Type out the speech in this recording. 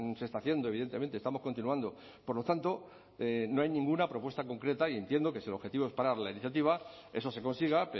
se está haciendo evidentemente estamos continuando por lo tanto no hay ninguna propuesta concreta y entiendo que si el objetivo es parar la iniciativa eso se consiga